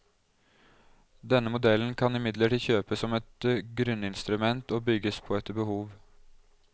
Denne modellen kan imidlertid kjøpes som et grunninstrument og bygges på etter behov.